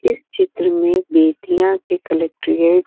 इस चित्र में बेटियां के कलेक्ट्रेट --